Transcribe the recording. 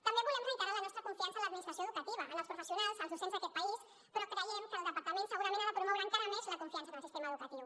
també volem reiterar la nostra confiança en l’administració educativa en els professionals els docents d’aquest país però creiem que el departament segurament ha de promoure encara més la confiança en el sistema educatiu